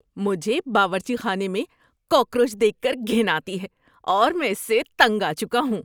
مجھے باورچی خانے میں کاکروچ دیکھ کر گھن آتی ہے اور میں اس سے تنگ آ چکا ہوں۔